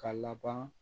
Ka laban